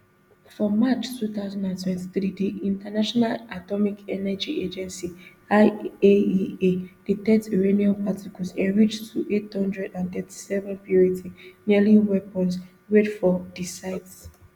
for march two thousand and twenty-three di international atomic energy agency iaea detect uranium particles enriched to eight hundred and thirty-seven puritynearly weapons gradefor di site